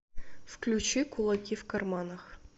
включи кулаки в карманах